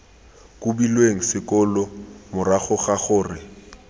kobilweng sekolo morago ga gore